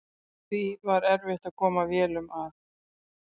Því var erfitt að koma vélum að.